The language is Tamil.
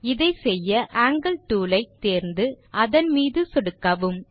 இதை செய்ய ஆங்கில் டூல் ஐ டூல் பார் இலிருந்து தேர்ந்து அதன் மீது சொடுக்கவும்